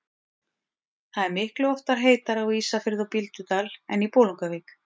Það er miklu oftar heitara á Ísafirði og Bíldudal en í Bolungarvík.